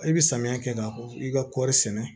I bɛ samiya kɛ ka i ka kɔɔri sɛnɛ